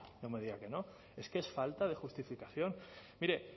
no me diga que no es que es falta de justificación mire